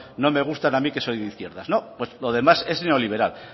no me gusta a mí que soy de izquierdas pues lo demás es neoliberal